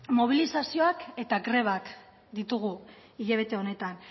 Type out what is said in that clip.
mobilizazioak eta grebak ditugu hilabete honetan